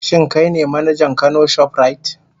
Shin kai ne manajan Kano shoprite?